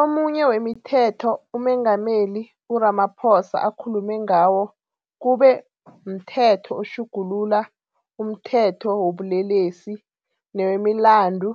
Omunye wemithetho uMengameli u-Ramaphosa akhulume ngawo kube mThetho oTjhugulula umThetho wobuLelesi newemiLandu